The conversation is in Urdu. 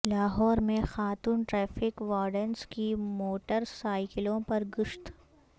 لاہور میں خاتون ٹریفک وارڈنس کی موٹر سائیکلوں پر گشت